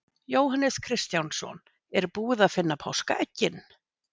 Jóhannes Kristjánsson: Er búið að finna páskaeggin?